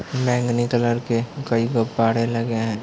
मैंगनी कलर के कई लोग पड़े लगे हैं।